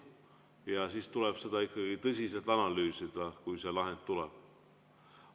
Ja siis tuleb seda tõsiselt analüüsida, kui see lahend tuleb.